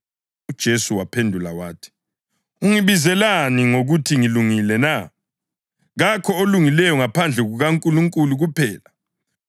UJesu waphendula wathi, “Ungibizelani ngokuthi ngilungile na? Kakho olungileyo ngaphandle kukaNkulunkulu kuphela.